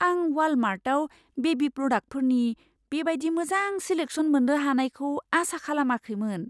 आं वालमार्टआव बेबी प्रडाक्टफोरनि बे बायदि मोजां सिलेक्सन मोन्नो हानायखौ आसा खालामाखैमोन।